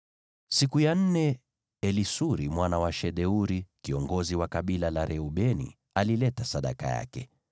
Siku ya nne Elisuri mwana wa Shedeuri, kiongozi wa kabila la Reubeni, alileta sadaka yake.